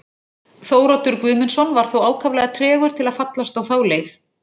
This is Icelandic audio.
Þóroddur Guðmundsson var þó ákaflega tregur til að fallast á þá leið.